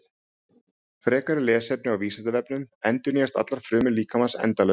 Frekara lesefni á Vísindavefnum: Endurnýjast allar frumur líkamans endalaust?